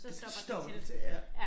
Stopper til ja